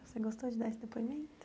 Você gostou de dar esse depoimento?